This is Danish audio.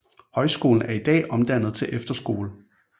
Højskolen er i dag omdannet til efterskole